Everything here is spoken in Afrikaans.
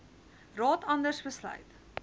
raad anders besluit